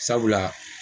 Sabula